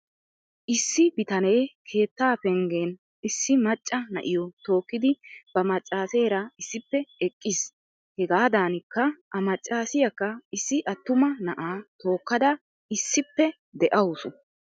Isilsi bitanee keettaa penggen issi macca na'yoo tookkidi ba maccaaseera issippe eqqiis. Hegaadankka A maccaasiyaakka issi attuma na'aa tokkada issippe de'awusu.